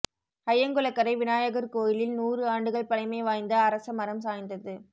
அய்யங்குளக்கரை விநாயகர் கோயிலில் நூறு ஆண்டுகள் பழமைவாய்ந்த அரச மரம் சாய்ந்தது